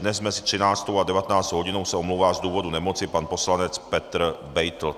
Dnes mezi 13. a 19. hodinou se omlouvá z důvodu nemoci pan poslanec Petr Beitl.